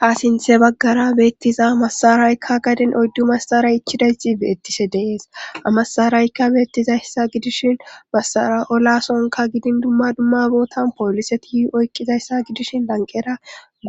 Ha sinthe baggara beettiza masaraykka gadin oyddu masara ichidayti beettise dees amasaraykka beettizayssa gidishin masara olasonka gidin dumma dumma bootan pooliseti oyqqizayssa gidishin lanqera